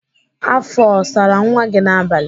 Afọ ọ sara nwa gị n'abalị?